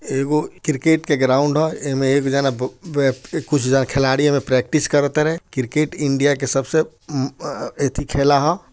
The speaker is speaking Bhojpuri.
एगो क्रेकेट का ग्राउंड है । एमे एक जना कुछ खिलाड़ी मा प्रक्टिस करत रहे | क्रेकेट इंडिया सबसे उ एथि क खेला हय|